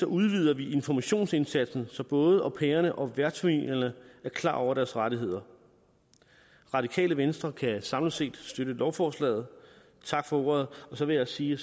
udvider vi informationsindsatsen så både au pairerne og værtsfamilierne er klar over deres rettigheder radikale venstre kan samlet set støtte lovforslaget tak for ordet så vil jeg sige